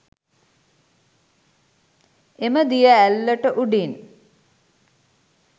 එම දිය ඇල්ලට උඩින්